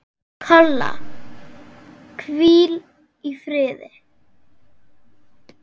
Kolla, hvíl í friði.